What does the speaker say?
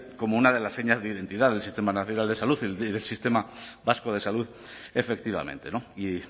como una de las señas de identidad del sistema nacional de salud y del sistema vasco de salud efectivamente y